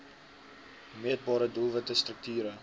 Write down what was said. meetbare doelwitte strukture